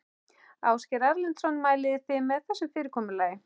Ásgeir Erlendsson: Mælið þið með þessu fyrirkomulagi?